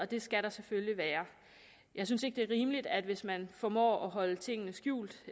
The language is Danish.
det skal der selvfølgelig være jeg synes ikke det er rimeligt at man hvis man formår at holde tingene skjult